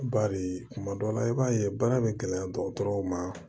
Bari kuma dɔw la i b'a ye baara bɛ gɛlɛya dɔgɔtɔrɔw ma